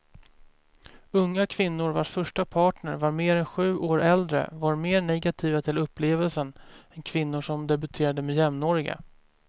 Unga kvinnor vars första partner var mer än sju år äldre var mer negativa till upplevelsen än kvinnor som debuterat med jämnåriga.